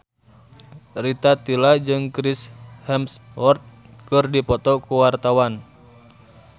Rita Tila jeung Chris Hemsworth keur dipoto ku wartawan